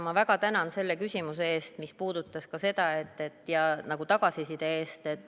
Ma väga tänan selle küsimuse eest ja tagasiside eest!